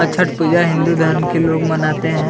और छठ पूजा हिंदू धर्म के लोग मनाते हैं।